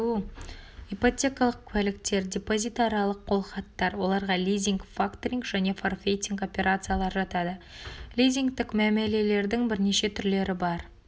ипотекалық куәліктер депозитарлық қолхаттар оларға лизинг факторинг және форфейтинг операциялары жатады лизингтік мәмілелердің бірнеше түрлері бар